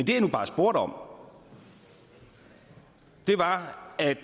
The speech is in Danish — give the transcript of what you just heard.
jeg nu bare spurgte om var at